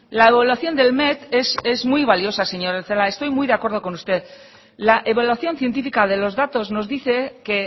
la evaluación del met es muy valiosa señora celaá estoy muy de acuerdo con usted la evaluación científica de los datos nos dice que